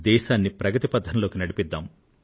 దేశాన్ని ప్రగతి పథంలోకి నడిపిద్దాం